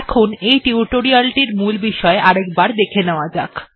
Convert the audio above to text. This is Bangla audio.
এখন এই টিউটোরিয়াল টির মূল বিষয় আরেকবার দেখে নেওয়া যাক